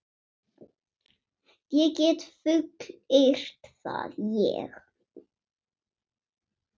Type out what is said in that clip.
Ég get fullyrt það, ég.